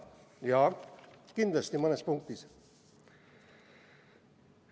Jaa, kindlasti mõnes punktis on.